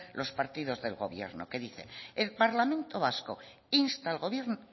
los partidos del gobierno que dice el parlamento vasco insta al gobierno